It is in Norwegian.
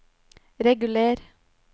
reguler